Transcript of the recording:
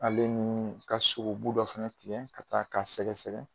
Ale ni ka sogobu dɔ fana tigɛ ka taa k'a sɛgɛsɛgɛ